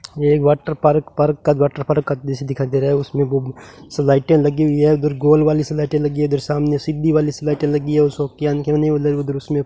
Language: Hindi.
ये एक वाटर पार्क पार्क का वाटर पार्क दृश्य दिखाई दे रहा है उसमें बु सलाइटें लगी हुई है उधर गोल वाली सलाइटें लगी है इधर सामने सीधी वाली सलाइटें लगी है उधर उसमें --